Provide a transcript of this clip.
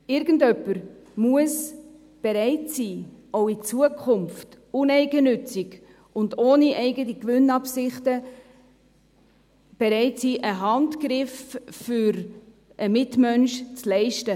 Irgendwer muss auch in Zukunft bereit sein, uneigennützig und ohne eigene Gewinnabsichten einen Handgriff für den Mitmenschen zu leisten.